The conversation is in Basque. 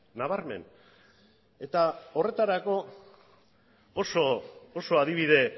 nabarmen eta horretarako oso adibide